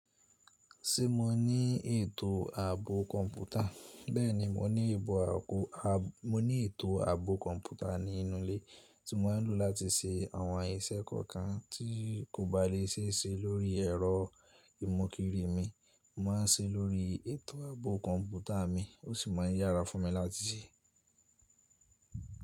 Ṣé mo ní ètò ààbò kọ̀ǹpútà? Bẹ́ẹ̀ni mo ní ètò ààbò kọ̀ǹpútà ní inú ilé tí mo ń lò láti ṣe àwọn iṣẹ́ kọ̀ọ̀kan tí kò bá lè ṣe é ṣe lórí ẹ̀rọ ìmọ̀kìrí mi, mo máa ṣe é lórí ètò ààbò kọ̀ǹpútà mi ó sì máa ń yára fún mi láti ṣe.